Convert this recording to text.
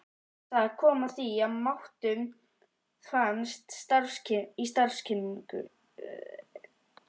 Það kom að því að við máttum fara í starfskynningu.